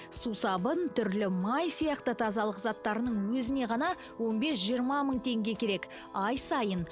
сусабын түрлі май сияқты тазалық заттарының өзіне ғана он бес жиырма мың теңге керек ай сайын